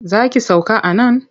Za ki sauka a nan?